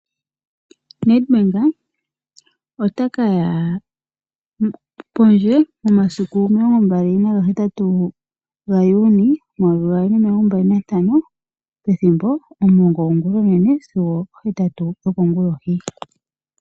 NedBank ota kaya pondje momasiku omilongo mbali naga hetatu gaJuni omayovi gaali nomilongo mbali nantano pethimbo omulongo gongulonene sigo opo hetatu yokongulohi.